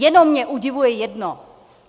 Jenom mě udivuje jedno.